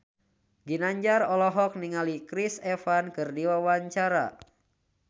Ginanjar olohok ningali Chris Evans keur diwawancara